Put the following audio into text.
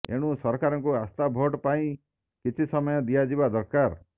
ଏଣୁ ସରକାରଙ୍କୁ ଆସ୍ଥା ଭୋଟ ପାଇଁ କିଛି ସମୟ ଦିଆଯିବା ଦରକାର